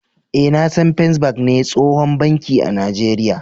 Eh, na san " first bank " ne tsohon banki a najeria.